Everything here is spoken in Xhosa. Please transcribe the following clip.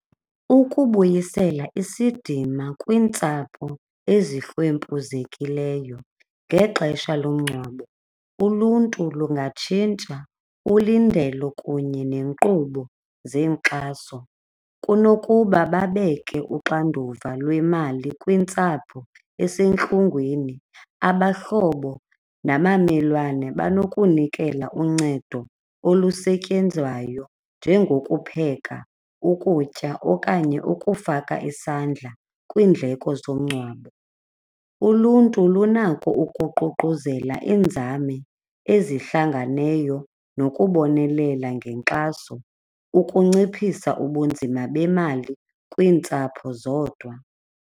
Ukubuyisela isidima kwiintsapho ezihlwempuzekileyo ngexesha lomngcwabo, uluntu lungatshintsha ulindelo kunye neenkqubo zenkxaso kunokuba babeke uxanduva lwemali kwintsapho esentlungwini. Abahlobo nabamelwane banokunikela uncedo olusetyenzwayo njengokupheka ukutya okanye ukufaka isandla kwiindleko zomngcwabo. Uluntu lunako ukuququzela iinzame ezihlanganeyo nokubonelela ngenkxaso ukunciphisa ubunzima bemali kwiintsapho zodwa.